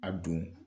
A don